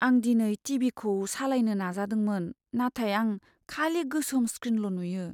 आं दिनै T. V. खौ सालायनो नाजादोंमोन, नाथाय आं खालि गोसोम स्क्रिनल' नुयो।